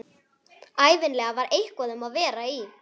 Ævinlega var eitthvað um að vera í